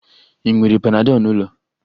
Ị nwere panadol n'ụlọ?